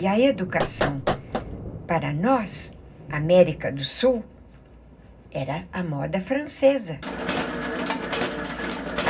E a educação para nós, América do Sul, era a moda francesa.